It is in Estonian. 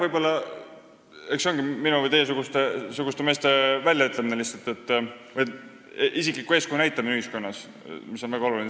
Eks see ongi minu- või teiesuguste meeste väljaütlemise teema lihtsalt, isikliku eeskuju näitamine ühiskonnas, mis on väga oluline.